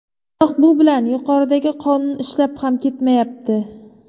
Biroq bu bilan yuqoridagi qonun ishlab ham ketmayapti.